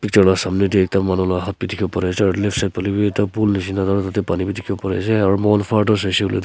picture la samne de ekta manu la haat b dikhi bo pare ase aro left side phale b ekta pool nishena aru tade pani b dikhi bo pari ase aro moikhan farther saishe kuile tu.